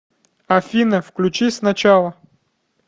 афина включи с начала